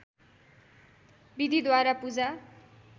विधिद्वारा पूजा